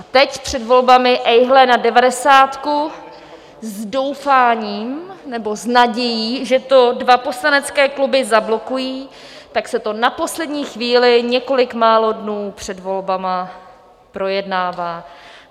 A teď, před volbami, ejhle na devadesátku s doufáním nebo s nadějí, že to dva poslanecké kluby zablokují, tak se to na poslední chvíli několik málo dnů před volbami projednává.